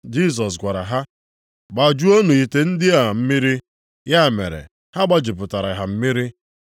Jisọs gwara ha, “Gbajuonụ ite ndị a mmiri.” Ya mere, ha gbajupụtara ha mmiri.